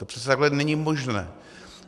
To přece takhle není možné!